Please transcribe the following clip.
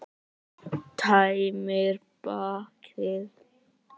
Tæmir bakið.